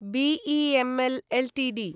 BEML Ltd